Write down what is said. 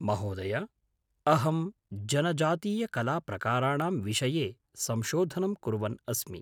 महोदय, अहं जनजातीयकलाप्रकाराणां विषये संशोधनं कुर्वन् अस्मि।